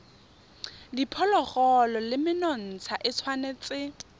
diphologolo le menontsha e tshwanetse